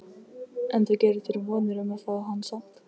En þú gerir þér vonir um að fá hann samt?